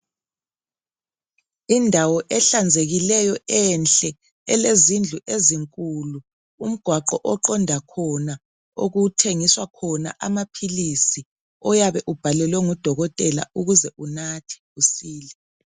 Indawo ehlanzekileyo enhle ,elezindlu ezinkulu. Umgwaqo oqonda khona okuthengiswa khona amaphilisi oyabe ubhalelwe ngudokothela ukuze unathe usile .